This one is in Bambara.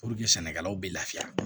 sɛnɛkɛlaw bɛ lafiya